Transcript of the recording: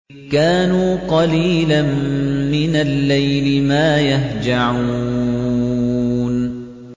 كَانُوا قَلِيلًا مِّنَ اللَّيْلِ مَا يَهْجَعُونَ